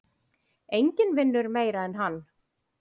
Enginn vinnur meira en hann.